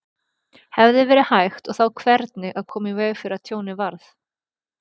Hefði verið hægt og þá hvernig að koma í veg fyrir að tjónið varð?